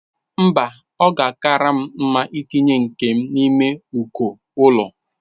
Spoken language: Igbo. Mba, ọ ga-akara m mma itinye nke m n'ime uko ụlọ.